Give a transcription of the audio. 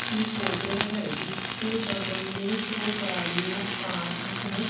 की फोटो है जिसके बगल में दो गाड़ियां पार्क है।